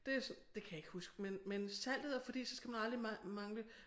Det det kan jeg ikke huske men men saltet er fordi så skal man aldrig mangle